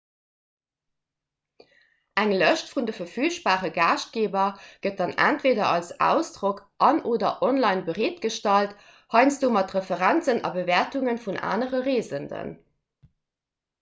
eng lëscht vun de verfügbare gaaschtgeeber gëtt dann entweeder als ausdrock an/oder online bereetgestallt heiansdo mat referenzen a bewäertunge vun anere reesenden